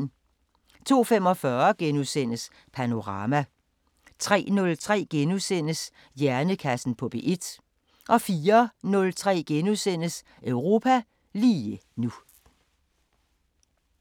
02:45: Panorama * 03:03: Hjernekassen på P1 * 04:03: Europa lige nu *